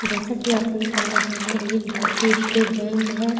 जैसा की आप देख पा रहे है एक भारतीय स्टेट बैंक है।